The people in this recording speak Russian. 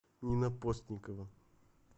нина постникова